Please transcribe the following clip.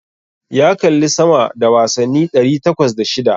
Ya kalli sama da wasanni ɗari takwas da shida.